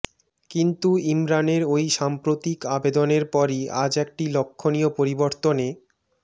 কিন্তু ইমরানের ওই সাম্প্রতিক আবেদনের পরই আজ একটি লক্ষ্যণীয় পরিবর্তনে